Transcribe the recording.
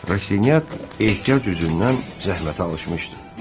Rad ehtiyac üzündən zəhmətə alışmışdı.